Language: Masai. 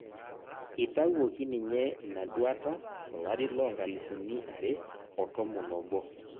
etawuoki ninye ina duata tolari loo nkalifuni are o tomon obo